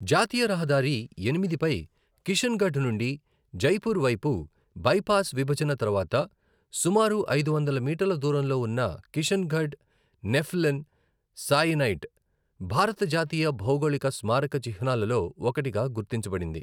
జాతీయ రహదారి ఎనిమిది పై కిషన్గఢ్ నుండి జైపూర్ వైపు బైపాస్ విభజన తర్వాత సుమారు ఐదు వందల మీటర్ల దూరంలో ఉన్న కిషన్గఢ్ నెఫలిన్ సాయనైట్ భారత జాతీయ భౌగోళిక స్మారక చిహ్నాలలో ఒకటిగా గుర్తించబడింది.